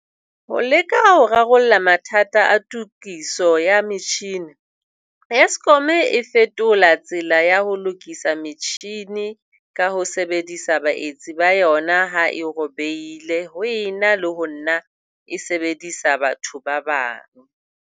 Ho leka ho rarolla mathata a tokiso ya metjhini, Eskom e fetola tsela ya ho lokisa metjhini ka ho sebedisa baetsi ba yona ha e robehile ho ena le ho nna e sebedisa batho ba bang.